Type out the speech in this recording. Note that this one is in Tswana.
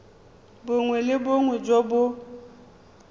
bongwe le bongwe jo bo